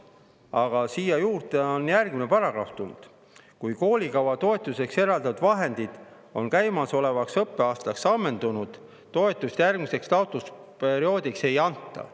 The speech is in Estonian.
Aga siia juurde on tulnud järgmine paragrahv: "Kui koolikava toetuseks eraldatud vahendid on käimasolevaks õppeaastaks ammendunud, toetust järgmiseks taotlusperioodiks ei anta.